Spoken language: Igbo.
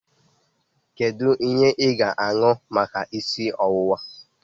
Kedu ihe ị ga-aṅụ maka isi ọwụwa?